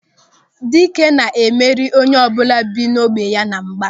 Dịka na-emeri onyeọbụla bi n'ógbè ya na mgba.